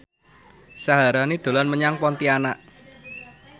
Syaharani dolan menyang Pontianak